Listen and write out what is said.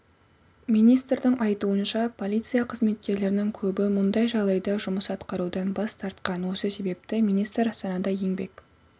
министрдің айтуынша полиция қызметкерлерінің көбі мұндай жағдайда жұмыс атқарудан бас тартқан осы себепті министр астанада еңбек